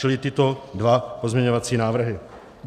Čili tyto dva pozměňovací návrhy.